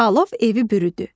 Alov evi bürüdü.